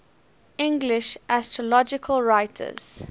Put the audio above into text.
english astrological writers